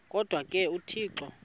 kodwa ke uthixo